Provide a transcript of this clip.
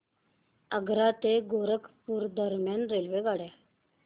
आग्रा ते गोरखपुर दरम्यान रेल्वेगाड्या